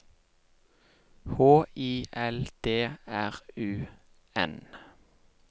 H I L D R U N